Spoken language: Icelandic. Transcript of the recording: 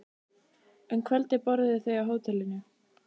Um kvöldið borðuðu þau á hótelinu.